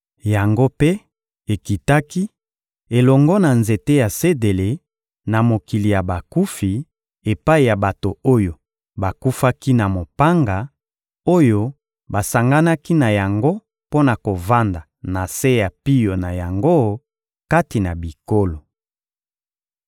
Yango mpe ekitaki, elongo na nzete ya sedele, na mokili ya bakufi, epai ya bato oyo bakufaki na mopanga, oyo basanganaki na yango mpo na kovanda na se ya pio na yango kati na bikolo.